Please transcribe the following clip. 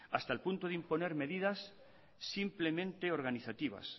hasta el punto de imponer medidas simplemente organizativas